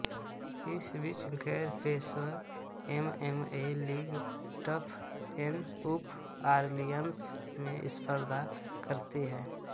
इस बीच गैरपेशेवर एमएमए लीग टफएनउफ़ ऑरलियन्स में स्पर्धा करती है